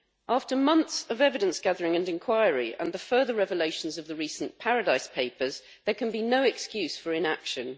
After months of evidence gathering and inquiry and the further revelations of the recent Paradise Papers, there can be no excuse for inaction.